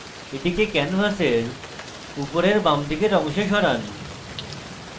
এটিকে ক্যানভাসের উপরের বাঁদিকের অংশে সরান